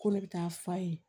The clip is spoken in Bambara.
Ko ne bɛ taa f'a ye